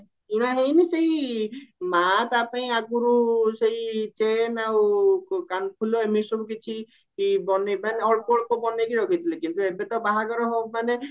କିଣା ହେଇନି ସେଇ ମା ତା ପାଇଁ ଆଗରୁ ସେଇ ଚେନ ଆଉ କାନଫୁଲ ଏମିତି ସବୁ କିଛି ବନେଇ ବାନେଇ ଅଳ୍ପ ଅଳ୍ପ କିଛି ବନେଇକି ରଖିଥିଲେ କିନ୍ତୁ ଏବେ ତ ବାହାଘର ମାନେ